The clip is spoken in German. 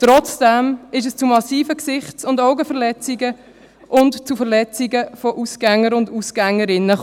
Trotzdem ist es zu massiven Gesichts- und Augenverletzungen und zu Verletzungen von Ausgängern und Ausgängerinnen gekommen.